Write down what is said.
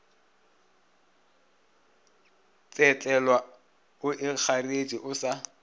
tsetlelwa o ikgareetše o sa